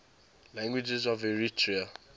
languages of eritrea